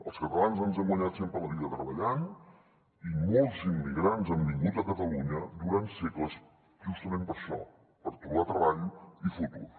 els catalans ens hem guanyat sempre la vida treballant i molts immigrants han vingut a catalunya durant segles justament per això per tro·bar treball i futur